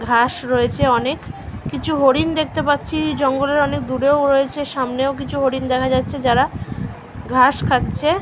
ঘাস রয়েছে অনেক কিছু হরিণ দেখতে পাচ্ছি। জঙ্গলের অনেক দূরেও রয়েছে সামনেও কিছু হরিণ দেখা যাচ্ছে যারা ঘাস খাচ্ছে ।